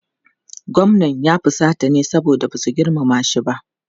Gwamnan ya fusata ne saboda ba su girmama shi ba.